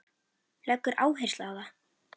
Leggur áherslu á það.